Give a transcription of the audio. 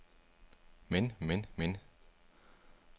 men men men